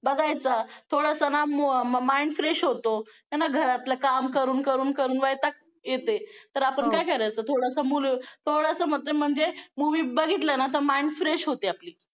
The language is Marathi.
बघायचं थोडसं ना mind fresh होतो. आहे ना घरातलं काम करून करून वैताग येतंय तर आपण काय करायचं थोडसं थोडसं म्हणजे movie बघितलं ना तर mind fresh होते आपली.